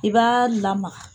I b'a lamaga